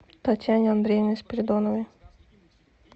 татьяне андреевне спиридоновой